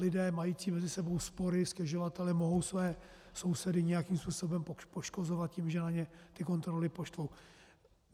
Lidé mající mezi sebou spory, stěžovatelé, mohou své sousedy nějakým způsobem poškozovat tím, že na ně ty kontroly poštvou.